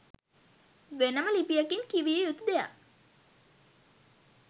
වෙනම ලිපියකින් කිවයුතු දෙයක්.